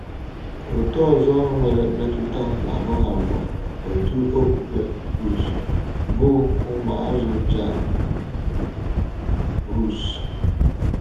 Òtù ọzọ nwere mmetụta n’ahụ́ ha bụ òtù okpukpe Hus, bụ́ ụmụazụ Jan Hus.